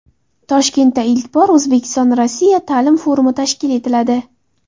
Toshkentda ilk bor O‘zbekiston Rossiya ta’lim forumi tashkil etiladi.